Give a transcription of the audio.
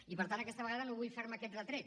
i per tant aquesta vegada no vull fer me aquest retret